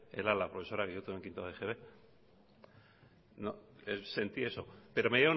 era la profesora que yo tuve en quinta egb sentí eso pero me